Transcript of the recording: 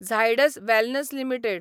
Zydus Wellness limited